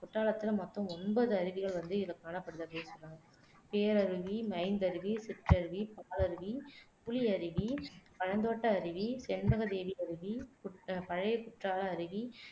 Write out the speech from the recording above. குற்றாலத்துல மொத்தம் ஒன்பது அருவிகள் வந்து இனங்காணப்பட்டுள்ளது அப்படி சொல்றாங்க பேரருவி ஐந்தருவி சிற்றருவி பாலருவி புலியருவி பழத்தோட்ட அருவி செண்பகதேவியருவி பழையகுற்றால அருவி